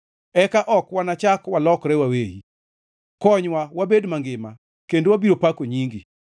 Eka ok wanachak walokre waweyi; konywa wabed mangima, kendo wabiro pako nyingi.